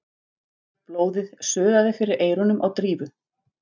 Blóðið suðaði fyrir eyrunum á Drífu.